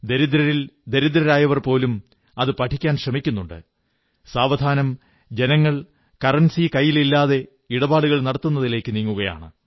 ദരിദ്രരിൽ ദരിദ്രരായവർ പോലും അതു പഠിക്കാൻ ശ്രമിക്കുന്നുണ്ട് സാവധാനം ജനങ്ങൾ കറൻസി കൈയിലില്ലാതെ ഇടപാടുകൾ നടത്തുന്നതിലേക്കു നീങ്ങുകയാണ്